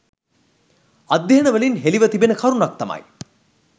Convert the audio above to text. අධ්‍යන වලින් හෙළිව තිඛෙන කරුණක් තමයි